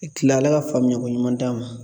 Ne tila, ala ka faamuyako ɲuman d'a ma.